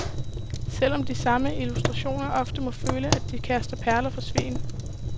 Selv om de samme illustratorer ofte må føle, at de kaster perler for svin.